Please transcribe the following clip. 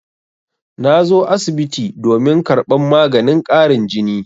Na zo asibiti domin karɓar maganin ƙarin jini.